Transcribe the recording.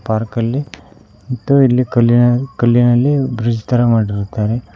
Park ಅಲ್ಲಿ ದು ಇಲ್ಲಿ ಕಲ್ಲಿನಲ್ ಕಲ್ಲಿನಲ್ಲಿ ಬ್ರಿಡ್ಜ್ ತರ ಮಾಡಿರುತ್ತಾರೆ.